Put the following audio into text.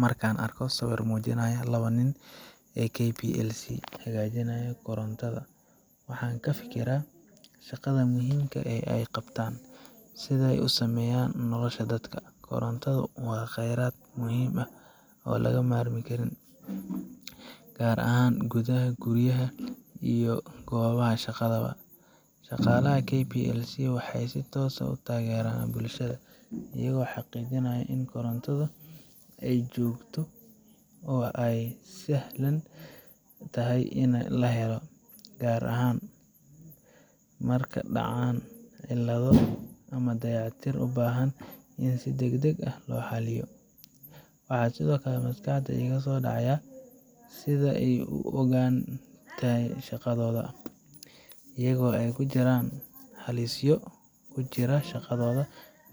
Marka aan arko sawirkan oo muujinaya labada nin ee KPLC ee hagaajinaya korontada, waxa aan ka fikiraa shaqada muhiimka ah ee ay qabtaan, iyo sida ay u saameeyaan nolosha dadka. Korontada waa kheyraad muhiim ah oo aan ka maarmin, gaar ahaan gudaha guryaha iyo goobaha shaqada. Shaqaalaha KPLC waxay si toos ah u taageeraan bulshada, iyaga oo xaqiijinaya in korontadu ay joogto oo ay sahlan tahay in la helo, gaar ahaan marka ay dhacaan cilado ama dayactir u baahan in si degdeg ah loo xalliyo. Waxa sidoo kale maskaxda iiga soo dhacaya sida ay uga go’an tahay shaqadooda, iyadoo ay jiraan halisyo ku jira shaqadooda